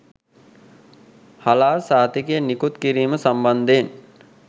හලාල් සහතිකය නිකුත් කිරීම සම්බන්ධයෙන්